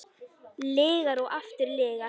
Lygar og aftur lygar.